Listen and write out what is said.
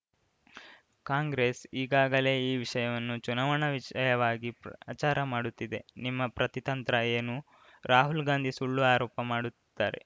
ಕಾಂಗ್ರೆಸ್‌ ಈಗಾಗಲೇ ಈ ವಿಷಯವನ್ನು ಚುನಾವಣಾ ವಿಷಯವಾಗಿ ಪ್ರಚಾರ ಮಾಡುತ್ತಿದೆ ನಿಮ್ಮ ಪ್ರತಿತಂತ್ರ ಏನು ರಾಹುಲ್‌ ಗಾಂಧಿ ಸುಳ್ಳು ಆರೋಪ ಮಾಡುತ್ತಾರೆ